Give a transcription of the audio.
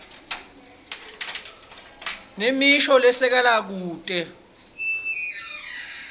nemisho lesekelako kute